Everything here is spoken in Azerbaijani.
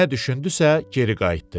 Nə düşündüsə, geri qayıtdı.